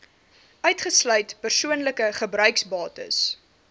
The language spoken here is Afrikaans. uitgesluit persoonlike gebruiksbates